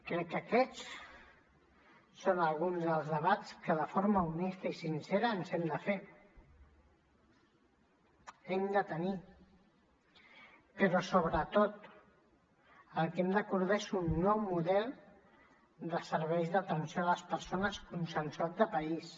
crec que aquests són alguns dels debats que de forma honesta i sincera hem de tenir però sobretot el que hem d’acordar és un nou model de serveis d’atenció a les persones consensuat de país